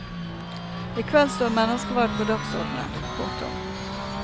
I kveld står menneskeverd på dagsordenen. punktum